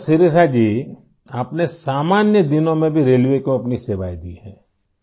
اچھا شریشا جی ، آپ نے عام دنوں میں بھی ریلوے کو اپنی خدمات دی ہیں